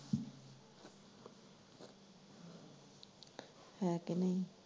ਹੈ ਕਿ ਨਹੀਂ।